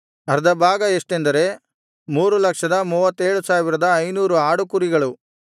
ಎಷ್ಟೆಂದರೆ 337500 ಆಡುಕುರಿಗಳು